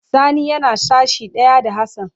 Sani yana sashi daya da Hassan.